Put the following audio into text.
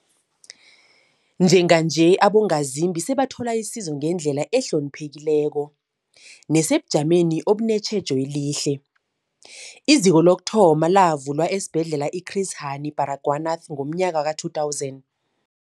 Njenganje, abongazimbi sebathola isizo ngendlela ehloniphekileko nesebujameni obunetjhejo elihle. IZiko lokuthoma lavulwa esiBhedlela i-Chris Hani Baragwanath ngomnyaka we-2000.